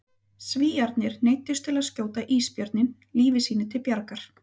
Svíarnir neyddust til að skjóta ísbjörninn lífi sínu til bjargar.